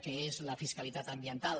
que és la fiscalitat ambiental